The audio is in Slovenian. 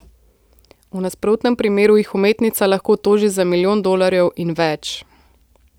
V nasprotnem primeru jih umetnica lahko toži za milijon dolarjev in več.